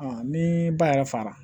ni ba yɛrɛ fara